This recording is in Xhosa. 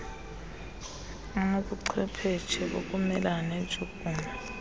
anobuchwepheshe bokumelana neentshukumo